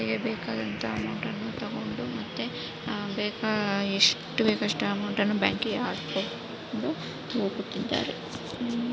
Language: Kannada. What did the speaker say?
ಬೇಕಾದಂತಹ ಅಮೌಂಟ್ ಅನ್ನು ತಗೊಂಡು ಮತ್ತು ಹ ಬೇಗಾ ಎಷ್ಟು ಬೇಕ್ ಅಷ್ಟ್ ಅಮೌಂಟ್ ಅನ್ನು ಬ್ಯಾಂಕ್ ಇಗೆ ಹಾಕ್ಬಹುದು ಹೋಗುತ್ತಿದ್ದಾರೆ.